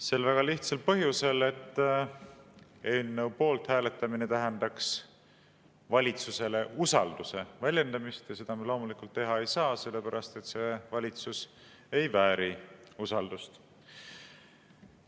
Sel väga lihtsal põhjusel, et eelnõu poolt hääletamine tähendaks valitsusele usalduse väljendamist ja seda me loomulikult teha ei saa, sellepärast et see valitsus ei vääri usaldust.